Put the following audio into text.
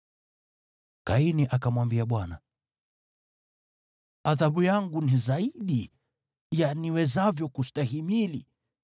Kaini akamwambia Bwana , “Adhabu yangu ni zaidi ya niwezavyo kustahimili.